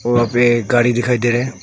वहां पे एक गाड़ी दिखाई दे रहा हैं।